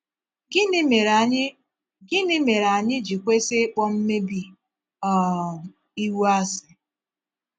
Gịnị mere anyị Gịnị mere anyị ji kwesị íkpò mmèbí um ìwu àsị?